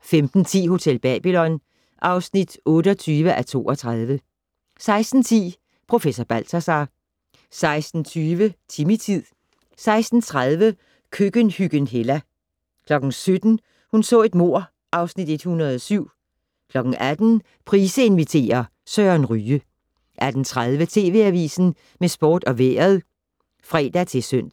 15:10: Hotel Babylon (28:32) 16:10: Professor Balthazar 16:20: Timmy-tid 16:30: Køkkenhyggen Hella 17:00: Hun så et mord (Afs. 107) 18:00: Price inviterer - Søren Ryge 18:30: TV Avisen med sport og vejret (fre-søn)